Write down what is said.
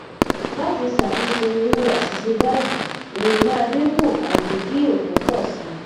lati satunse iru asise bayii ere maa dinku abi ki ofo po si